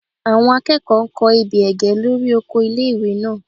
Àwọn akẹ́kọ̀ọ́ n kọ ebè ẹ̀gẹ́ lórí oko ilé-ìwé náà